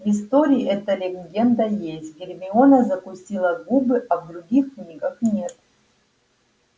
в истории эта легенда есть гермиона закусила губы а в других книгах нет